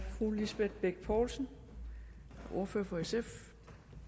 fru lisbeth bech poulsen ordfører for sf